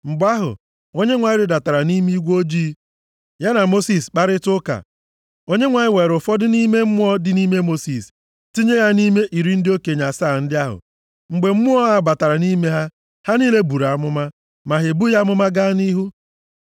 Mgbe ahụ, Onyenwe anyị rịdatara nʼime igwe ojii. Ya na Mosis kparịtaa ụka. Onyenwe anyị weere ụfọdụ nʼime Mmụọ dị nʼime Mosis, tinye ya nʼime iri ndị okenye asaa ndị ahụ. Mgbe Mmụọ a batara nʼime ha, ha niile buru amụma. Ma ha ebughị amụma gaa nʼihu.